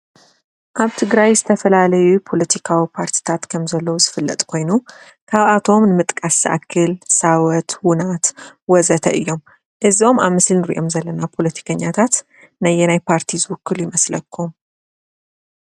ኣብ ትግራይ ዝተፈላለዩ ፖሎቲካዊ ፓርትታት ከም ዘለዎ ዝፍለጥ ኮይኑ ካብኣቶም ንምጥቃስ ዝኣክል ሳወት; ዉናት; ወዘተ እዮም ፡፡ እዞም ኣብ ምስሊ ንሪኦም ዘለና ፖሎቲከኛታት ነየናይ ፓርቲ ዝዉክሉ ይመስለኩም ?